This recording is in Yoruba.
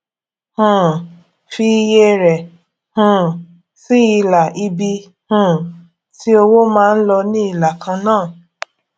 um fi iye rẹ um sí ilà ibi um tí owó máa ń lọ ní ìlà kan náà